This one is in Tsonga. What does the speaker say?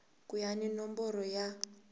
ku ya hi nomboro ya